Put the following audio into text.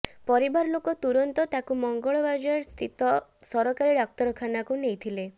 ପରିବାର ଲୋକ ତୁରନ୍ତ ତାକୁ ମଙ୍ଗଳବାଜର ସ୍ତିତ ସରକାରୀ ଡାକ୍ତରଖାନାକୁ ନେଇ ଥିଲେ